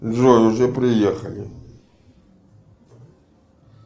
джой уже приехали